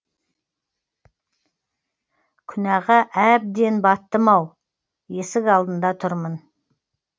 күнәға әбден баттым ау есік алдында тұрмын